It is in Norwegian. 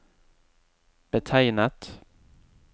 betegnet